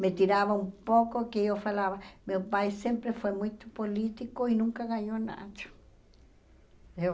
Me tirava um pouco que eu falava, meu pai sempre foi muito político e nunca ganhou nada. Eu